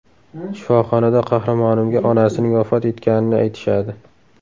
Shifoxonada qahramonimga onasining vafot etganini aytishadi.